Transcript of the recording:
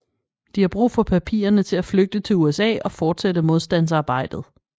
De har brug for papirerne for at flygte til USA og fortsætte modstandsarbejdet